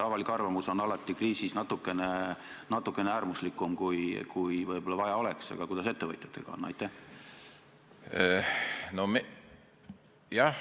Avalik arvamus on alati kriisis natukene äärmuslikum, kui võib-olla vaja oleks, aga kuidas ettevõtjatega on?